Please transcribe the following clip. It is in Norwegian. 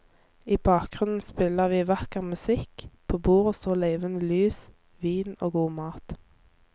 I bakgrunnen spiller vi vakker musikk, på bordet står levende lys, vin og god mat.